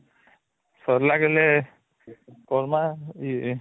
ସରିଲା ଗିଲେ କରମା